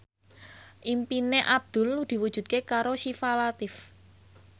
impine Abdul diwujudke karo Syifa Latief